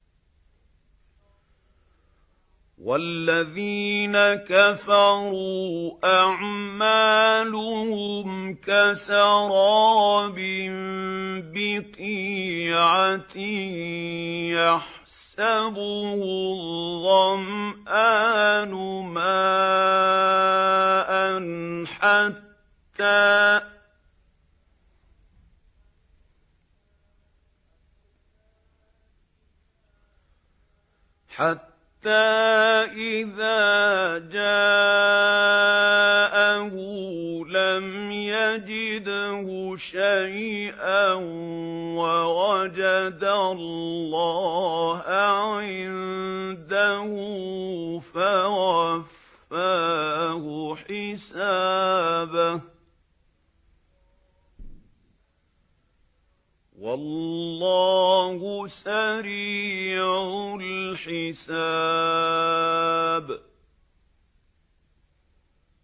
وَالَّذِينَ كَفَرُوا أَعْمَالُهُمْ كَسَرَابٍ بِقِيعَةٍ يَحْسَبُهُ الظَّمْآنُ مَاءً حَتَّىٰ إِذَا جَاءَهُ لَمْ يَجِدْهُ شَيْئًا وَوَجَدَ اللَّهَ عِندَهُ فَوَفَّاهُ حِسَابَهُ ۗ وَاللَّهُ سَرِيعُ الْحِسَابِ